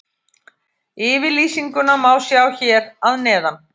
Yfirlýsinguna má sjá hér að neðan.